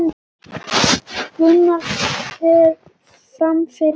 Gunnar fer fram fyrir vestan